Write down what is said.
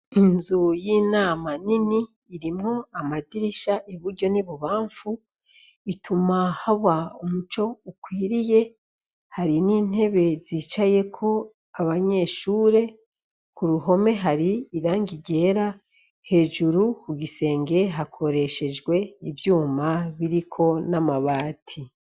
Inzu y'inama nini irimwo amadirisha iburyo n'ibubamfu ituma haba umuco ukwiriye, hari n'intebe zicayeko abanyeshure ku ruhome hari irangi ryera , hejuru ku gisenge hakoreshejwe ivyuma biriko n'amabati.